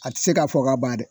A tɛ se ka fɔ ka ba dɛ.